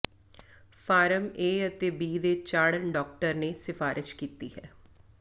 farm A ਅਤੇ B ਦੇ ਚਾੜਨ ਡਾਕਟਰ ਨੇ ਸਿਫਾਰਸ਼ ਕੀਤੀ ਹੈ